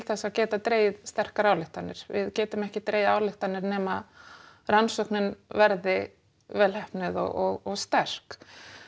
þess að geta dregið sterkar ályktanir við getum ekki dregið ályktanir nema rannsóknin verði vel heppnuð og sterk